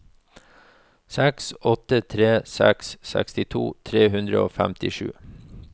seks åtte tre seks sekstito tre hundre og femtisju